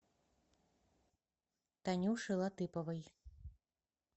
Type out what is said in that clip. танюше латыповой